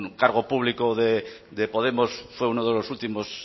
cargo público de podemos fue uno de los últimos